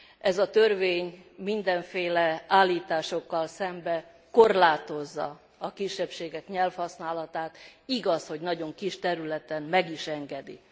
Ez a törvény mindenféle állításokkal szemben korlátozza a kisebbségek nyelvhasználatát, igaz, hogy nagyon kis területen meg is engedi.